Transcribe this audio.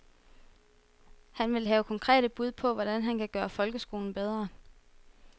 Han vil have konkrete bud på, hvordan han kan gøre folkeskolen bedre.